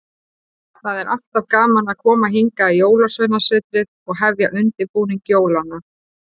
Það er alltaf gaman að koma hingað í Jólasveinasetrið og hefja undirbúning jólanna.